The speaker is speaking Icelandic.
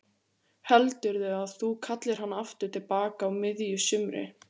Heldurðu að þú kallir hann aftur til baka á miðju sumri?